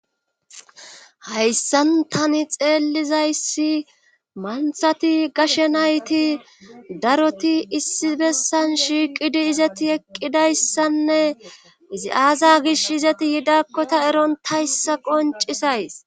hayssan tani xeellizayssi manthati gashe nayti daroti issi bessan shiiqidi izati eqqidayssanne izi aaza gish izati yidakkota eron tayssa qoncisays